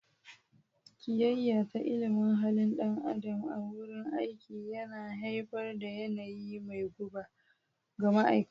Kiyayya ta ilimin halin dan adam a wurin aiki yana haifar da yanayi mai guba ga ma'aikata.